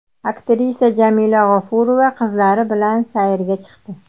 Aktrisa Jamila G‘ofurova qizlari bilan sayrga chiqdi.